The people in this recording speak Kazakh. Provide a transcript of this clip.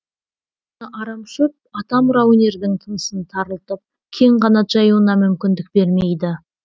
арамшөп атамұра өнердің тынысын тарылтып кең қанат жаюына мүмкіндік бермейді